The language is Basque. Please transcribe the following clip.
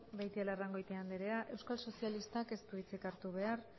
beitialarrangoitia anderea euskal sozialistak ez du hitzik hartu behar